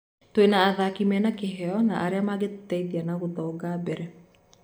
Twina athaki mēna kĩheo na arĩa mangetũteithia na gũthonga mbere.